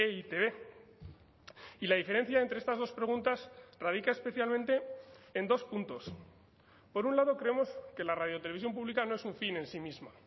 e i te be y la diferencia entre estas dos preguntas radica especialmente en dos puntos por un lado creemos que la radio televisión pública no es un fin en sí mismo